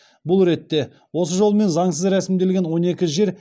бұл ретте осы жолмен заңсыз рәсімделген он екі жер